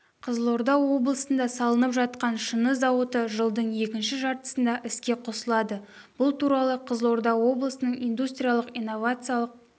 қызылорда облысында салынып жатқан шыны зауыты жылдың екінші жартысында іске қосылады бұл туралы қызылорда облысының индустриялық-инновациялық